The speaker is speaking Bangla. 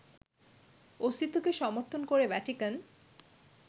অস্তিত্বকে সমর্থন করে ভ্যাটিকান